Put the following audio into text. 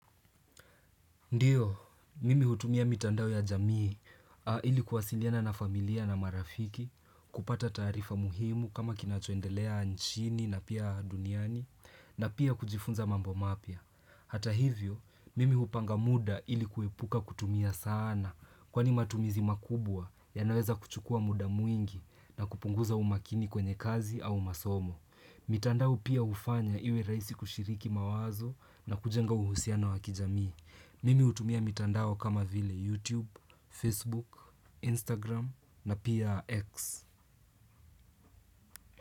Ndio, mimi hutumia mitandao ya jamii ili kuwasiliana na familia na marafiki, kupata taarifa muhimu kama kinachoendelea nchini na pia duniani na pia kujifunza mambo mapya. Hata hivyo, mimi hupanga muda ili kuepuka kutumia sana kwani matumizi makubwa yanaweza kuchukua muda mwingi na kupunguza umakini kwenye kazi au masomo. Mitandao pia hufanya iwe rahisi kushiriki mawazo na kujenga uhusiano wakijamii Mimi hutumia mitandao kama vile YouTube, Facebook, Instagram na pia X.